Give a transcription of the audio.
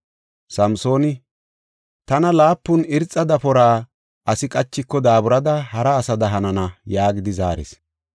Samsooni, “Tana laapun irxa dafora asi qachiko daaburada hara asada hanana” yaagidi zaaris.